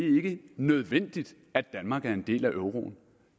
nødvendigt at danmark er del af euroen